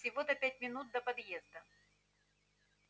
всего-то пять минут до подъезда